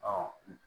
Ɔ